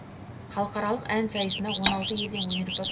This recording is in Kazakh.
халықаралық ән сайысына он алты елден өнерпаз